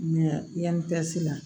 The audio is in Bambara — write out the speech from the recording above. Mɛ yanni pɛsi la